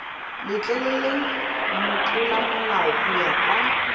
letleleleng motlolamolao go ya kwa